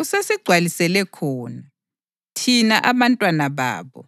usesigcwalisele khona, thina abantwababo,